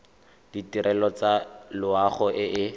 ditirelo tsa loago e e